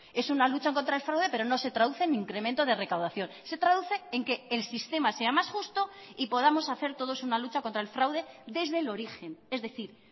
es una lucha contra el fraude pero no se traduce en incremento de recaudación se traduce en que el sistema sea más justo y podamos hacer todos una lucha contra el fraude desde el origen es decir